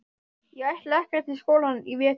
Ég ætla ekkert í skólann í vetur.